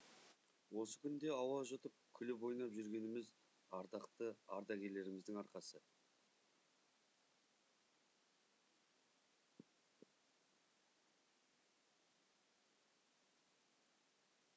осы күнде ауа жұтып күліп ойнап жүргеніміз ардақты ардагерлерімізді арқасы